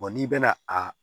n'i bɛna a